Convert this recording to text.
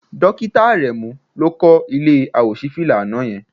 Dókítà Àrẹ̀mú ló kọ́ ilé àwòṣífìlà àná yẹn